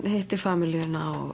hittir